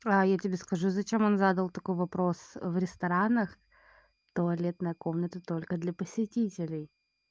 аа я тебе скажу зачем он задал такой вопрос в ресторанах туалетная комната только для посетителей